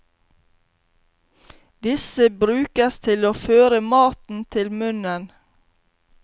Disse brukes til å føre maten til munnen.